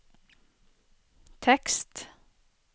tekst